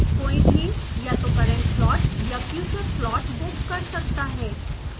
कोई भही या तो current slot या future slot बुक कर सकता है